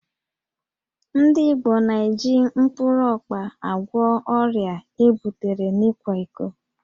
Ndị Igbo na-eji mkpụrụ ọkpa agwọ ọrịa ebutere n'ịkwa iko